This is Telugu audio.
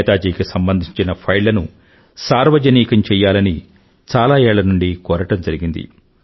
నేతాజీకి సంబంధించిన ఫైళ్లను సార్వజనికం చేయాలని చాలా ఏళ్ళ నుండీ కోరడం జరిగింది